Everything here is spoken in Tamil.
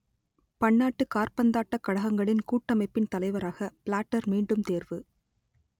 பன்னாட்டுக் காற்பந்தாட்டக் கழகங்களின் கூட்டமைப்பின் தலைவராக பிளாட்டர் மீண்டும் தேர்வு